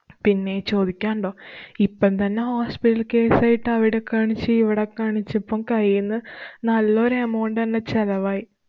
പിന്നെ ചോദിക്കാനുണ്ടോ? ഇപ്പം തന്നെ hospital case ആയിട്ടു അവിടെ കാണിച്ചു ഇവിടെ കാണിച്ച് പ്പം കൈയീന്ന് നല്ല ഒരു amount തന്നെ ചെലവായി.